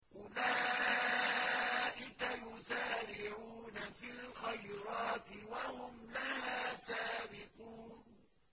أُولَٰئِكَ يُسَارِعُونَ فِي الْخَيْرَاتِ وَهُمْ لَهَا سَابِقُونَ